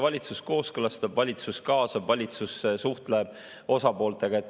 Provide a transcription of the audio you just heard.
Valitsus kooskõlastab, valitsus kaasab, valitsus suhtleb osapooltega.